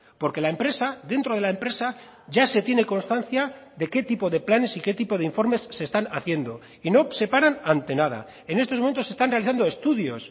porque la empresa dentro de la empresa ya se tiene constancia de qué tipo de planes y qué tipo de informes se están haciendo y no se paran ante nada en estos momentos están realizando estudios